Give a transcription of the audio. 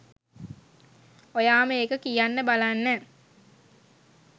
ඔයාම ඒක කියන්න බලන්න.